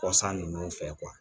Kɔsan ninnu fɛ